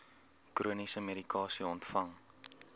chroniese medikasie ontvang